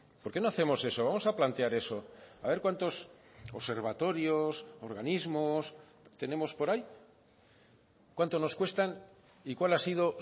por qué no hacemos eso vamos a plantear eso a ver cuántos observatorios organismos tenemos por ahí cuánto nos cuestan y cuál ha sido